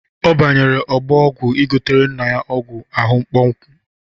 Ọ banyere ọgbọ ọgwụ ịgotere nna ya ọgwụ ahụ mkpọnwụ.